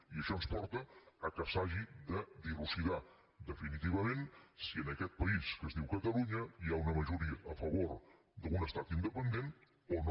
i això ens porta que s’hagi de dilucidar definitivament si en aquest país que es diu catalunya hi ha una majoria a favor d’un estat independent o no